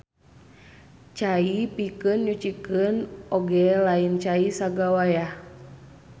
Cai pikeun nyucikeun oge lain cai sagawayah.